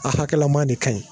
A hakɛlama de kaɲi.